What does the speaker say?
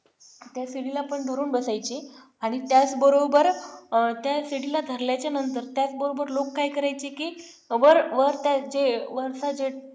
त्या सीडीला पण धरून बसायचे आणि त्त्याच बरोबर त्याच सीडीला धरल्या नंतर त्याच बरोबर लोक काय करायचे की वर वर त्याचे वरचा जे